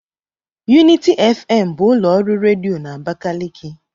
Unity FM bụ ụlọ ọrụ redio na Abakaliki.